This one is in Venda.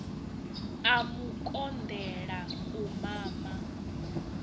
a mu konḓela u mama